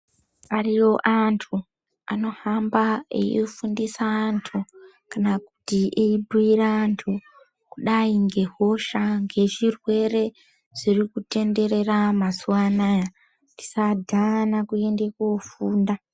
Ariyo anthu anohamba eifundisa anthu kana kuti ebhiira anthu kudai ngehosha, ngezvirwere zvirikutendera mazuvaanaya. Tisadhana kuenda kofunda.